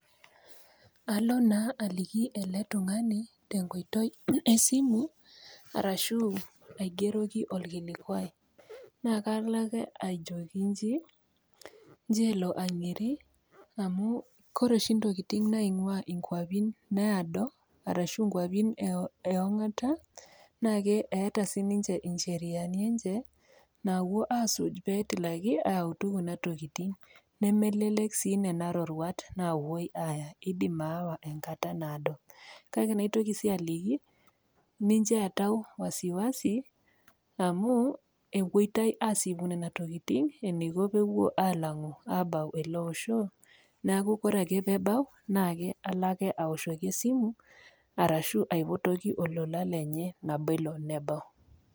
Alo naa tung'ani tenkoitoi esimu arashu aigeroki olkilikwai, naa kalo ake ajoki inji nchoo elo ang'iri amu ore oshi intokitin naing'waa inkwapin naado arashu inkwapin e ong'ata, naa keata sininye incheriani enye naawo aasuj pee etilaki ayautu kuna tokitin. Nemelelek sii nena roruat naawuoi aya, keidim aawa enkata naado. Kake naitoki sii aliki , mincho eatau wasiwasi amu ewoitaiasipu nena tokitin amu ewoita alang'u abau ele osho neaku ore ake pee ebau naake alo ake aoshoki esimu arashu aipotoki olola lenye nabo elo nebau.